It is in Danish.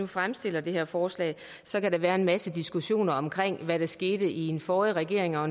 fremsat det her forslag så kan der være en masse diskussion om hvad der skete i den forrige regering og